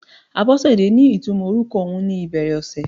Abosede ní ìtumò orúkọ ohun ni ìbẹ̀rẹ̀ ọ̀sẹ̀.